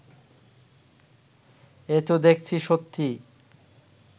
এ তো দেখছি সত্যিই